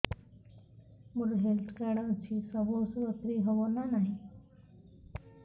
ମୋର health card ଅଛି ସବୁ ଔଷଧ ଫ୍ରି ହବ ନା ନାହିଁ